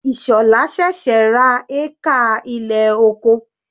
Ishola sẹ̀sẹ̀ ra hékà ilẹ̀ oko.